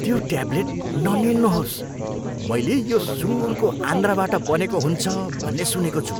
त्यो ट्याब्लेट निल्नुहोस्। मैले यो सुँगुरको आन्द्राबाट बनेको हुन्छ भन्ने सुनेको छु।